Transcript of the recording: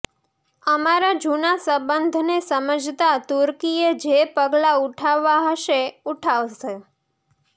અમારા જૂના સંબંધને સમજતા તુર્કીએ જે પગલા ઉઠાવવા હશે ઉઠાવશે